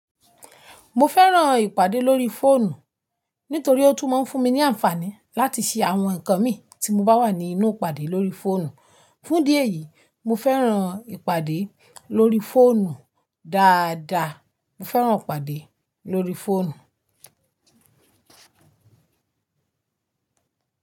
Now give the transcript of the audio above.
Mo fẹ́ràn ìpàdé lórí fóònù nítorí ó tún máa ń fún mi ní àǹfààní láti ṣe àwọn nǹkan mi tí mo bá wà ní inú ìpàdé lórí fóònù. Fún idí eyìí, mo fẹ́ràn ìpàdé lórí fóònù dáadáa. Mo fẹ́ràn ìpàdé lórí fóònù.